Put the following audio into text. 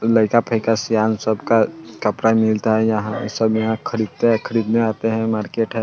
लईका-फायिका सयान सबका कपड़ा मिलता है यहाँ सब यहाँ खरीदते हैं खरीदने आते हैं मार्केट है।